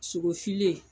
Sogo filen